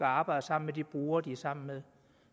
arbejde sammen med de brugere de er sammen med